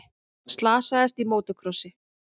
Slasaðist í mótorkrossi